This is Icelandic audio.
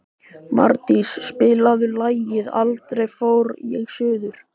Mardís, spilaðu lagið „Aldrei fór ég suður“.